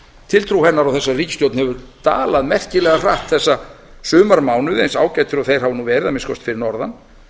tiltrú hennar á þessari ríkisstjórn hefur dalað merkilega hratt þessa sumarmánuði eins ágætir og þeir hafa nú verið að minnsta kosti fyrir norðan